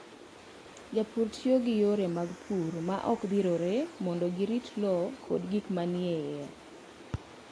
Jopur tiyo gi yore mag pur ma ok gidhirore mondo girit lowo kod gik manie iye.